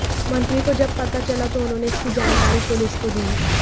मंत्री को जब पता चला तो उन्होंने इसकी जानकारी पुलिस को दी